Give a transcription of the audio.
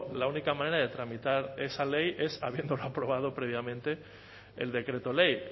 la única manera de tramitar esa ley es habiéndola aprobado previamente el decreto ley